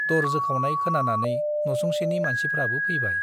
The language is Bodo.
दर जोखावनाय खोनानानै न'सुंसेनि मानसिफ्राबो फैयो ।